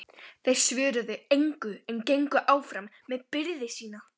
Þeir svöruðu engu en gengu áfram með byrði sína.